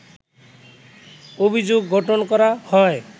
অভিযোগ গঠন করা হয়